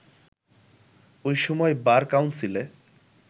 ওই সময় বার কাউন্সিলে